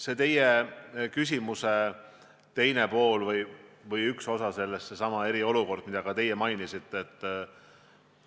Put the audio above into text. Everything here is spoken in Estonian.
Nüüd, teie küsimuse teine pool või üks osa sellest – seesama eriolukord, mida te mainisite.